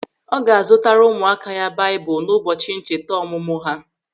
Ọ ga-azutara ụmụaka ya baịbụl n'ụbọchị ncheta ọmụmụ ha.